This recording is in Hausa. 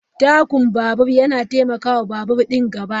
Takun babur na taimaka wa babur ɗin gaba.